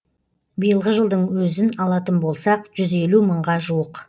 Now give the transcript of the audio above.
биылғы жылдың өзін алатын болсақ жүз елу мыңға жуық